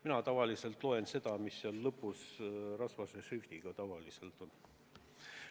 Mina tavaliselt loen seda, mis lõpus tavaliselt rasvases šriftis on.